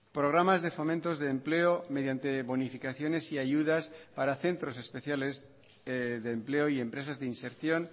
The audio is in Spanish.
programas de fomentos de empleo mediante bonificaciones y ayudas para centros especiales de empleo y empresas de inserción